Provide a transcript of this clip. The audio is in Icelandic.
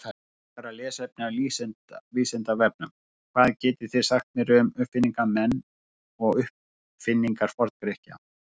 Frekara lesefni af Vísindavefnum: Hvað getið þið sagt mér um uppfinningamenn og uppfinningar Forngrikkja?